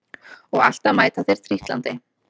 Og alltaf mæta þeir trítlandi